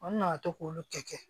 An nana to k'olu kɛ